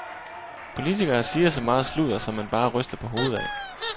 Politikere siger så meget sludder, som man bare ryster på hovedet af.